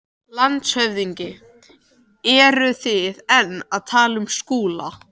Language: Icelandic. LANDSHÖFÐINGI: Eruð þið enn að tala um Skúla?